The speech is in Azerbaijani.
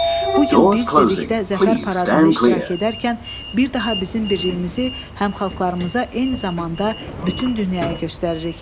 Bu gün biz birlikdə Zəfər paradında iştirak edərkən bir daha bizim birliyimizi həm xalqlarımıza, eyni zamanda bütün dünyaya göstəririk.